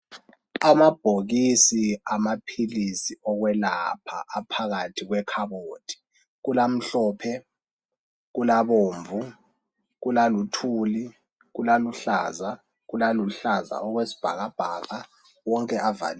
Amabhokisi amaphilisi okwelapha aphakathi kwekhabothi kulamhlophe kulabomvu kulakuthuli kulaluhlaza kulaluhlaza okwesibhakabhaka wonke avaliwe.